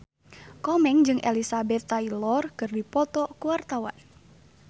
Komeng jeung Elizabeth Taylor keur dipoto ku wartawan